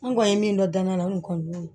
An kɔni ye min dɔn da la n kɔni y'o